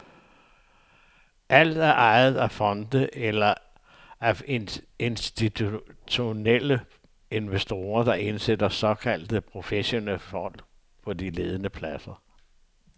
Alt er ejet af fonde eller af institutionelle investorer, der indsætter såkaldte professionelle folk på de ledende pladser.